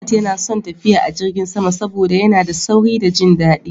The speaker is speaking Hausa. Ahmad yana son tafiya a jirgin sama saboda yana da sauri da jin daɗi.